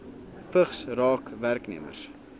vigs raak werknemers